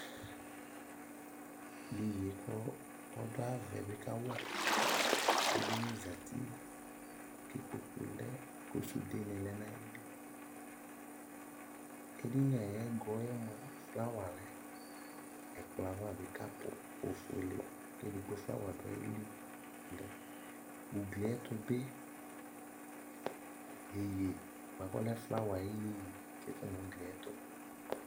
Iyeye kʋ ɔdʋ ayava bi kawa edini zati kʋ ikpkoku lɛ kʋ sude ni lɛ nʋ ayili Edini ayɛgɔ yɛ moa, flawa lɛ Ɛkplɔ yɛ ava bi kapʋ ofuele, kɛ ɛdigbo flawa dʋ ayili lɛ, ugli yɛ ayɛtʋ bi iyeye boa kʋ ɔlɛ flawa ayu iyeye atsitʋ nʋ ugli yɛ tʋ